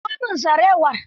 Miƙo min sarewar.